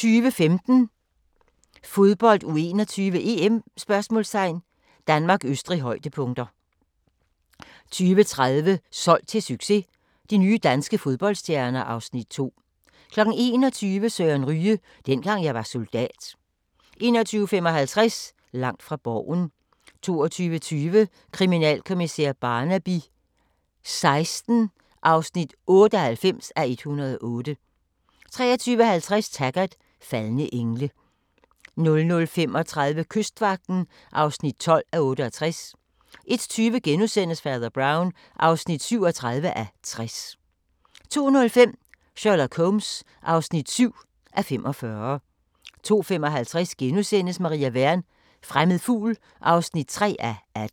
20:15: Fodbold: U21-EM ? Danmark-Østrig, højdepunkter 20:30: Solgt til succes – de nye danske fodboldstjerner (Afs. 2) 21:00: Søren Ryge: Dengang jeg var soldat 21:55: Langt fra Borgen 22:20: Kriminalkommissær Barnaby XVI (98:108) 23:50: Taggart: Faldne engle 00:35: Kystvagten (12:68) 01:20: Fader Brown (37:60)* 02:05: Sherlock Holmes (7:45) 02:55: Maria Wern: Fremmed fugl (3:18)*